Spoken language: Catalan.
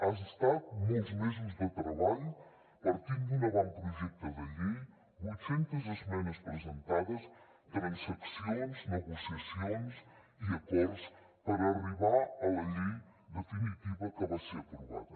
han estat molts mesos de treball partint d’un avantprojecte de llei vuit centes esmenes presentades transaccions negociacions i acords per arribar a la llei definitiva que va ser aprovada